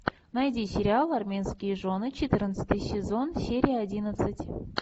найди сериал армейские жены четырнадцатый сезон серия одиннадцать